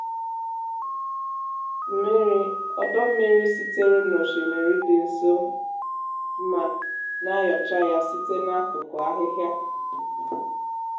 mmiri ọdọ mmiri sitere n’osimiri dị nso ma na-ayocha ya site n’akụkụ ahịhịa.